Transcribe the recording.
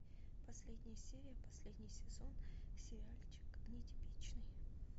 последняя серия последний сезон сериальчик нетипичный